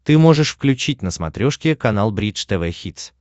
ты можешь включить на смотрешке канал бридж тв хитс